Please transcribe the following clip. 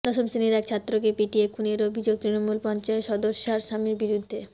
দশম শ্রেণির এক ছাত্রকে পিটিয়ে খুনের অভিযোগ তৃণমূল পঞ্চায়েত সদস্যার স্বামীর বিরুদ্ধে